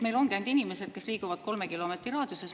Meil ongi nagu ainult inimesed, kes liiguvad 3 kilomeetri raadiuses.